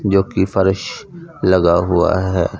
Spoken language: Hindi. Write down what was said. जो कि फर्श लगा हुआ है।